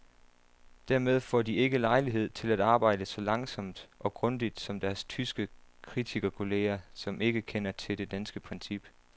Dermed får de ikke lejlighed til at arbejde så langsomt og grundigt som deres tyske kritikerkolleger, som ikke kender til det danske princip.